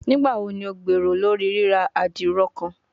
Nigbawo ni o gbero lori rira adiro kan?